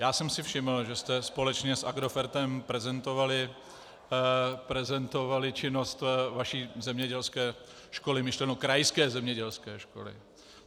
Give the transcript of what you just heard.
Já jsem si všiml, že jste společně s Agrofertem prezentovali činnost vaší zemědělské školy, myšleno krajské zemědělské školy.